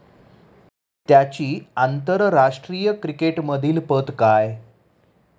त्याची आंतरराष्ट्रीय क्रिकेटमधील पत काय?